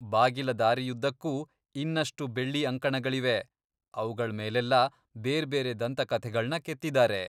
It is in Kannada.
ಬಾಗಿಲ ದಾರಿಯುದ್ದಕ್ಕೂ ಇನ್ನಷ್ಟು ಬೆಳ್ಳಿ ಅಂಕಣಗಳಿವೆ, ಅವ್ಗಳ್ ಮೇಲೆಲ್ಲ ಬೇರ್ಬೇರೆ ದಂತಕಥೆಗಳ್ನ ಕೆತ್ತಿದಾರೆ.